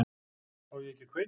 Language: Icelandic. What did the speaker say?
Á ég ekki að kveikja?